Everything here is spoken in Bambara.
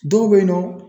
Dɔw bɛ yen nɔ